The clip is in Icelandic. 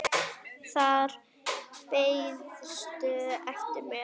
Þar beiðstu eftir mér.